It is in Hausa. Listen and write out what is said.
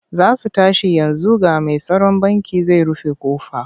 Za su tashi yanzu ga mai tsaron bankin zai rufe ƙofa.